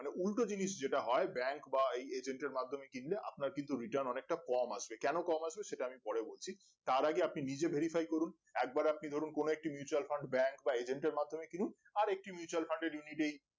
মানে উল্টো জিনিস যেটা হয় bank বা এই agent মাধ্যমে কিনলে আপনার কিন্তু Return অনেকটা কম আসবে কেনো কম আসবে সেটা আমি পরে বলছি তার আগে আপনি নিজে verify করুন একবার আপনি ধরুন কোনো একটি mutual fund bank বা agent এর মাধ্যমে কিনুন আর একটি Mutual Fund এর unit এই